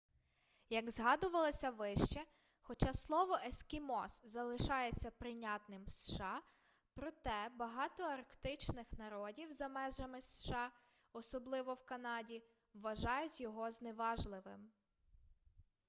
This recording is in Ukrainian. як згадувалося вище хоча слово ескімос залишається прийнятним в сша проте багато арктичних народів за межами сша особливо в канаді вважають його зневажливим